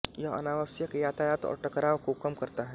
यह अनावश्यक यातायात और टकराव को कम करता है